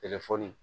Telefɔni